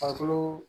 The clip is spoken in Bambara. Farikolo